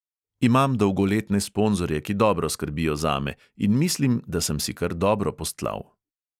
Imam dolgoletne sponzorje, ki dobro skrbijo zame, in mislim, da sem si kar dobro postlal.